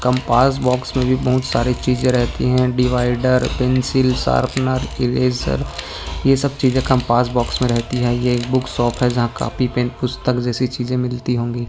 Compass box मे भी बहुत सारे चिजे रहती है डिवायडर पेंसिल सार्पणर इरेज़र ये सब चीजे कम्पास बॉक्स मे रहती है ये एक बूक शॉप है जहा काफी पेन पुस्तक जैसी चिजे मिलती होंगी।